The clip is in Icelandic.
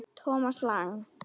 Thomas Lang